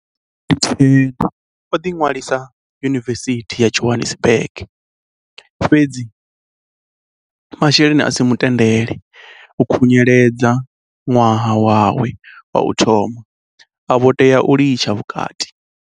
Nga 2010 o ḓinwalisa Yunivesithi ya Johannesburg fhe-dzi masheleni a si mu tendele u khunyeledza ṅwaha wawe wa u thoma, a vho tea u litsha vhukati.